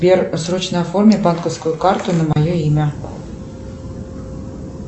сбер срочно оформи банковскую карту на мое имя